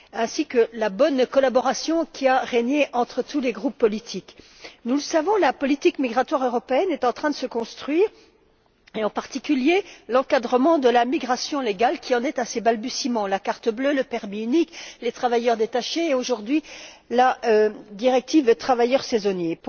Je me félicite également de la bonne collaboration qui a régné entre tous les groupes politiques. Nous le savons, la politique migratoire européenne est en train de se construire et, en particulier, l'encadrement de la migration légale, qui en est à ses balbutiements la carte bleue, le permis unique, les travailleurs détachés et, aujourd'hui, la directive sur les travailleurs saisonniers.